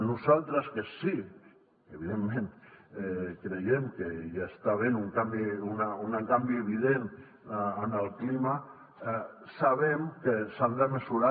nosaltres que sí evidentment que creiem que hi està havent un canvi evident en el clima sabem que s’han de mesurar